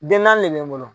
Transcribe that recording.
Den naani de bɛ n bolo